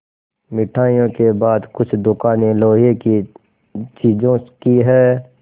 मिठाइयों के बाद कुछ दुकानें लोहे की चीज़ों की हैं